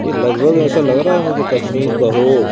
ये लगभग ऐसा लग रहा है मुझे कश्मीर का हो।